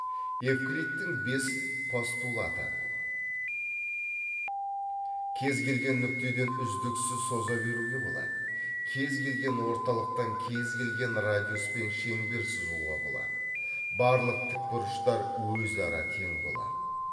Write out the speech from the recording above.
евклидтің бес постулаты кез келген нүктеден үздіксіз соза беруге болады кез келген орталықтан кез келген радиуспен шеңбер сызуға болады барлық тікбұрыштар өзара тең болады